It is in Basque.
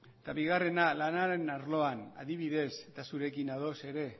eta bigarrena lanaren arloan adibidez eta zurekin ados ere